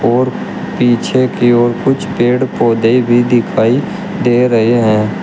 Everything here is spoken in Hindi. और पीछे की ओर कुछ पेड़ पौधे भी दिखाई दे रहे हैं।